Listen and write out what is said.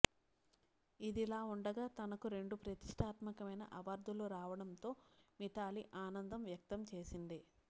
ఇదిలావుండగా తనకు రెండు ప్రతిష్టాత్మకమైన అవార్డులు రావడంతో మిథాలీ ఆనందం వ్యక్తం చేసింది